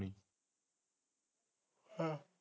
ਹਾਂ